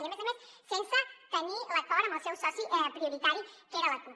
i a més a més sense tenir l’acord amb el seu soci prioritari que era la cup